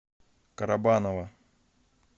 карабаново